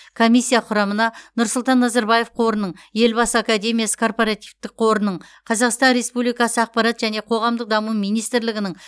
комиссия құрамына нұрсұлтан назарбаев қорының елбасы академиясы корпоративтік қорының қазақстан республикасы ақпарат және қоғамдық даму министрлігінің